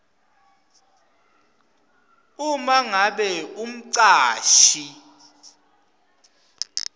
uma ngabe umcashi